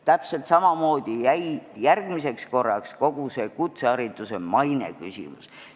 Täpselt samamoodi jäi järgmiseks korraks kogu kutsehariduse maine küsimus.